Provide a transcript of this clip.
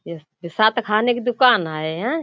यह बिसात खाने की दुकान है। या --